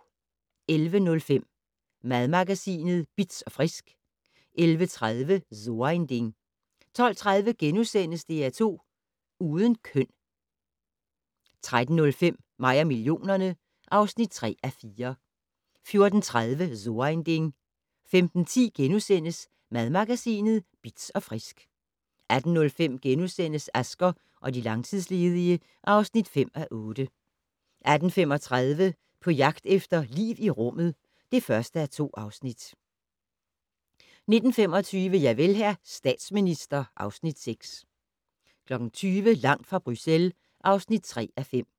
11:05: Madmagasinet Bitz & Frisk 11:30: So ein Ding 12:30: DR2 Uden køn * 13:05: Mig og millionerne (3:4) 14:30: So ein Ding 15:10: Madmagasinet Bitz & Frisk * 18:05: Asger og de langtidsledige (5:8)* 18:35: På jagt efter liv i rummet (1:2) 19:25: Javel, hr. statsminister (Afs. 6) 20:00: Langt fra Bruxelles (3:5)